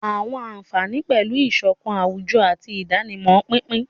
Àwọn àfààní pẹ̀lú ìṣọ̀kan àwùjọ àti ìdánimọ̀ pínpín.